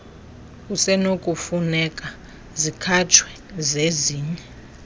kusenokufuneka zikhatshwe zezinye